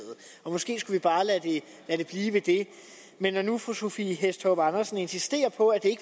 og måske skulle vi bare lade det blive ved det men når nu fru sophie hæstorp andersen insisterer på at det